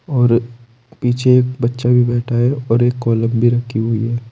और पीछे एक बच्चा भी बैठा है और एक कॉलम भी रखी हुई है।